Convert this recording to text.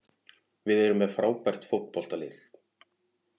Við erum með frábært fótboltalið.